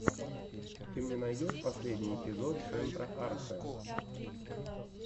ты мне найдешь последний эпизод центра архэ